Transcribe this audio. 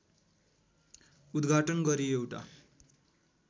उद्घाटन गरी एउटा